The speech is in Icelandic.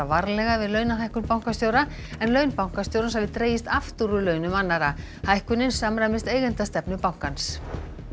varlega við launahækkun bankastjóra en laun bankastjórans hafi dregist aftur úr launum annarra hækkunin samræmist eigendastefnu bankans